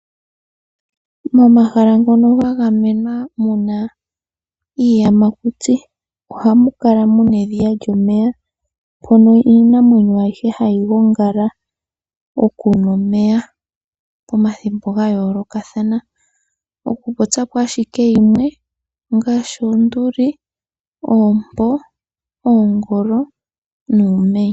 Momahala ngono gagamemwa muna iiyamakuti , oha mukala muna edhiya lyomeya mpono Iinamwenyo ayihe hayi gongala okunwa omeya pomathimbo ngayoloka thana oku popyapo ashike yimwe ongashi , Oonduli, Oompo, Oongolo, nuumenye.